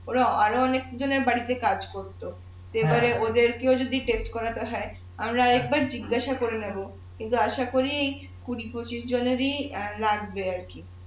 ওরা আরো অনেক জনের বাড়িতে কাজ করতো তো এবার ওদের কে ও যদি করাতে হয় আমি আর একবার জিজ্ঞাসা করে নেবো কিন্তু আশা করি কুঁড়ি পঁচিশ জনেরই অ্যাঁ লাগবে আর কি